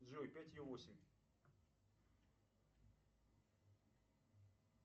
джой пятью восемь